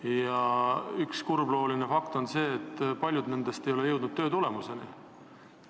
Ja üks kurblooline fakt on see, et paljud nendest ei ole jõudnud tulemuseni.